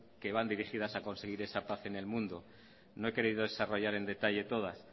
que van dirigidas conseguir esa paz en el mundo no he querido desarrollar en detalles todas